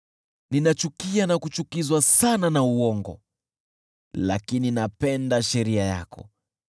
Ninachukia na kuchukizwa sana na uongo, lakini napenda sheria yako.